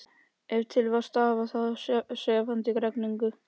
Ef til vill stafaði það af sefandi regninu.